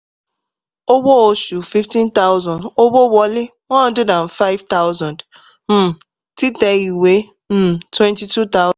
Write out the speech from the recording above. owó oṣù fifteen thousand owó wọlé one hundred and five thousand um títẹ ìwé um twenty-two